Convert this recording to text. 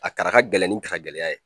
A kara ka gɛlɛn ni karagɛlɛya ye